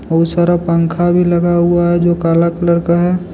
बहुत सारा पंखा भी लगा हुआ है जो काला कलर का है।